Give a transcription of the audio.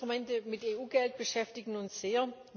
Finanzinstrumente mit EU Geld beschäftigen uns sehr.